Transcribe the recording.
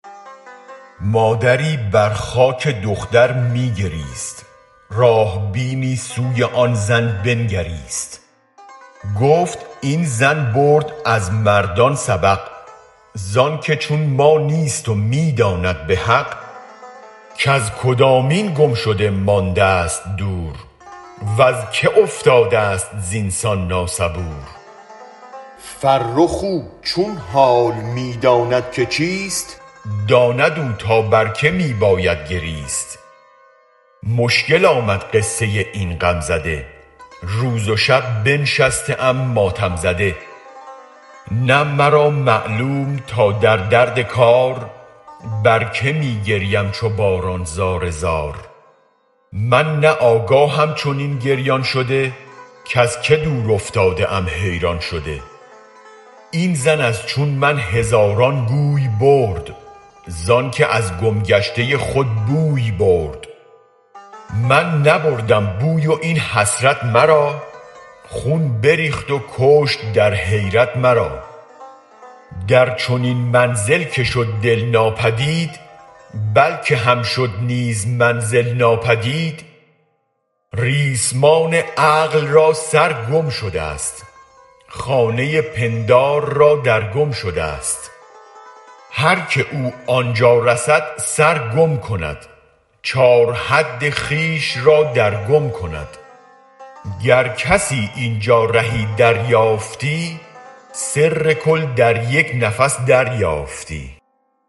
مادری بر خاک دختر می گریست راه بینی سوی آن زن بنگریست گفت این زن برد از مردان سبق زانک چون ما نیست و می داند به حق کز کدامین گم شده ماندست دور وز که افتادست زین سان نا صبور فرخ او چون حال می داند که چیست داند او تا بر که می باید گریست مشکل آمد قصه این غم زده روز و شب بنشسته ام ماتم زده نه مرا معلوم تا در درد کار بر که می گریم چو باران زار زار من نه آگاهم چنین گریان شده کز که دور افتاده ام حیران شده این زن از چون من هزاران گوی برد زانکه از گم گشته خود بوی برد من نبردم بوی و این حسرت مرا خون بریخت و کشت در حیرت مرا در چنین منزل که شد دل ناپدید بل که هم شد نیز منزل ناپدید ریسمان عقل را سر گم شدست خانه پندار را در گم شدست هرکه او آنجا رسد سرگم کند چار حد خویش را در گم کند گر کسی اینجا رهی دریافتی سر کل در یک نفس دریافتی